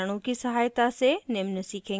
कुछ उदाहरणों की सहायता से निम्न सीखेंगे